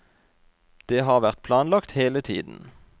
Det har vært planlagt hele tiden.